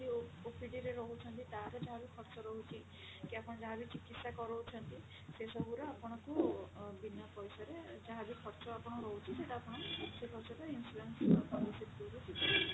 OPD ରେ ରହୁଛନ୍ତି ତାର ଯାହା ବି ଖର୍ଚ୍ଚ ରହୁଛି କି ଆପଣ ଯାହା ବି ଚିକିତ୍ସା କରଊଛନ୍ତି ସେ ସବୁର ଆପଣଙ୍କୁ ବିନା ପଇସାରେ ଯାହା ବି ଖର୍ଚ୍ଚ ଆପଣଙ୍କର ରହୁଛି ସେଟା ଆପଣ ସେ ଖର୍ଚ୍ଚ ଟା insurance policy through ରୁ ମିଳିବ।